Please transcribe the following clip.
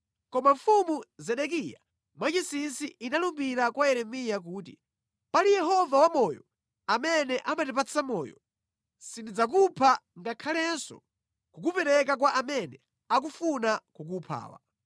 Koma Mfumu Zedekiya mwachinsinsi inalumbira kwa Yeremiya kuti, “Pali Yehova wamoyo, amene amatipatsa moyo, sindidzakupha ngakhalenso kukupereka kwa amene akufuna kukuphawa.”